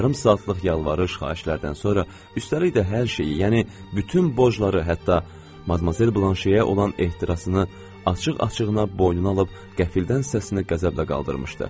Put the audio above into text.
Yarım saatlıq yalvarış, xahişlərdən sonra, üstəlik də hər şeyi, yəni bütün borcları, hətta Madmazel Blanşeyə olan ehtirasını açıq-açığına boynuna alıb qəfildən səsini qəzəblə qaldırmışdı.